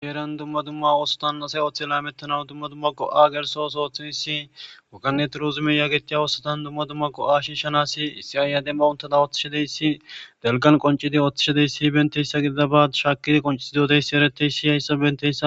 sheeren dumma dumma oosotan asay oththe la mettanawu dumma dumma go7a gelsosootheyssi wakaneti rozume yaagetiya oosotan dumma dumma go7a shiishanas isiaaya demma untada ooththishadeyssi delgan qoncidi oththishadeyssi benteyssa gidida ba shaakidi qoncisi doteyssi ereteyssi hayssa bentessa.